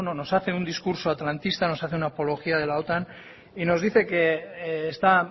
nos hace un discurso atlantista nos hace una apología de la otan y nos dice que está